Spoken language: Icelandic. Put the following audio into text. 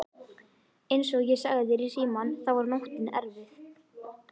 Einsog ég sagði þér í símann þá var nóttin erfið.